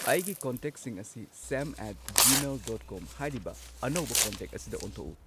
ꯑꯩꯒꯤ ꯀꯟꯇꯦꯛꯁꯤꯡ ꯑꯁꯤ same at Gmail dot com ꯍꯥꯏꯔꯤꯕ ꯑꯅꯧꯕ ꯀꯟꯇꯦꯛ ꯑꯁꯤꯗ ꯑꯣꯟꯊꯣꯛꯎ